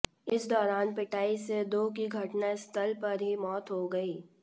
इस दौरान पिटाई से दो की घटना स्थल पर ही मौत हो गई